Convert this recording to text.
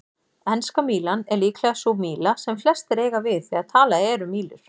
Enska mílan er líklega sú míla sem flestir eiga við þegar talað er um mílur.